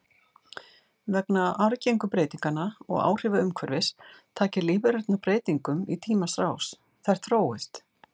Vegna arfgengu breytinganna og áhrifa umhverfis taki lífverurnar breytingum í tímans rás, þær þróist.